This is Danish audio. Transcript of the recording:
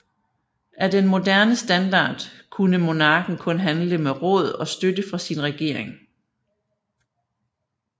Af den moderne standard kunne monarken kun handle med råd og støtte fra sin regering